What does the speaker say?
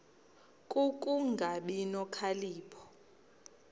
ku kungabi nokhalipho